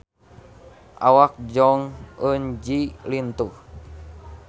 Awak Jong Eun Ji lintuh